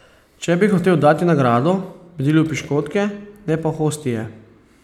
Če bi hotel dati nagrado, bi delil piškotke, ne pa hostije.